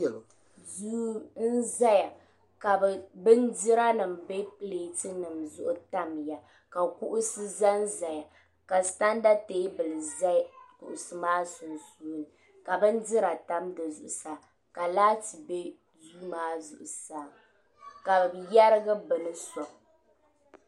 Duu n zaya ka bindira nima be pileti nima zuɣu tamya ka kaɣusi zanzaya ka santa teebuli za kuɣusi maa sunsuuni ka bindira tam di zμɣusaa laati be duu maa zuɣusaa ka bɛ yerigi bini soŋ.